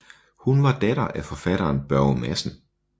Hun var datter af forfatteren Børge Madsen